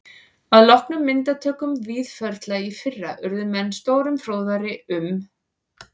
Að loknum myndatökum Víðförla í fyrra urðu menn stórum fróðari um